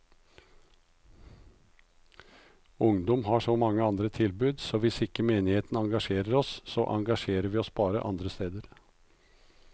Ungdom har så mange andre tilbud, så hvis ikke menigheten engasjerer oss, så engasjerer vi oss bare andre steder.